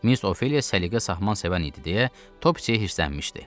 Miss Ofeliya səliqə sahman sevən idi deyə Topseyə hirslənmişdi.